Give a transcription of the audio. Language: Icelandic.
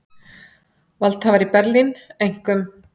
Valdhafar í Berlín, einkum